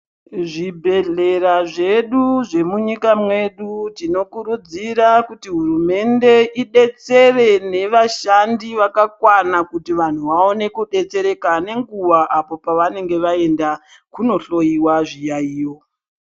Zvibhedhlera zvedu zvemunyika medu tinokurudzira kuti hurumende idetsere nevashandi vakakwana kuti kuti vaone kudetsereka nenguva apo pavanenge vaenda kunohloyiwa zviyaiyo.